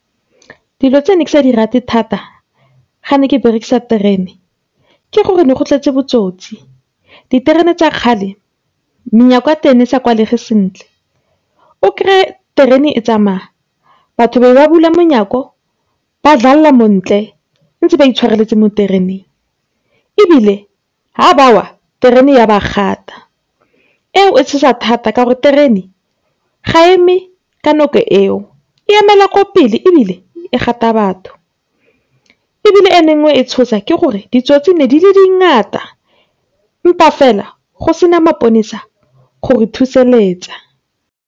Dilo tsene ke sa di rate thata ha ne ke berekisa terene ke gore ne go tletse botsotsi. Terene tsa kgale menyako ya teng ne e sa kwalege sentle. O kry-e terene e tsamaya batho be ba bula menyako ba montle, ntse baitshwareletse mo tereneng, ebile ha ba wa terene ya ba gata. Eo e tshosa thata ka gore terene ga e eme ka eo. E emela ko pele ebile, e gata batho, ebile e nngwe e ne e tshosa, ke gore ditsotsi ne di le dingata empa fela, go se na maponesa gore thuseletsa.